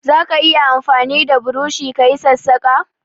Zaka iya amfani da burushi ka yi sassaƙa?